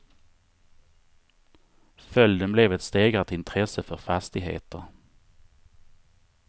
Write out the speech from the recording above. Följden blev ett stegrat intresse för fastigheter.